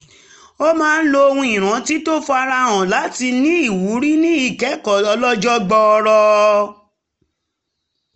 ó máa ń lo ohun ìrántí tó ń fara hàn láti ní ìwúrí ní ìkẹ́kọ̀ọ́ ọlọ́jọ́ gbọọrọ